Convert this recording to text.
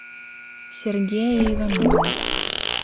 сергея иванова